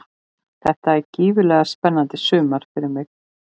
Þetta er gífurlega spennandi sumar fyrir mig.